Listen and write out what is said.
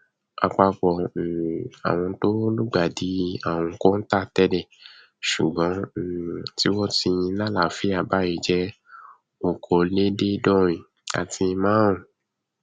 àpapọ um àwọn tó lùgbàdì àrùn kọńtà tẹlẹ ṣùgbọn um tí wọn ti lálàáfíà báyìí jẹ okòóléèédéédọrùn àti márùnún